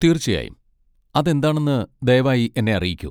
തീർച്ചയായും, അത് എന്താണെന്ന് ദയവായി എന്നെ അറിയിക്കൂ.